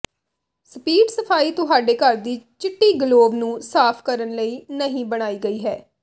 speed ਸਫਾਈ ਤੁਹਾਡੇ ਘਰ ਦੀ ਚਿੱਟੀ ਗਲੋਵ ਨੂੰ ਸਾਫ਼ ਕਰਨ ਲਈ ਨਹੀਂ ਬਣਾਈ ਗਈ ਹੈ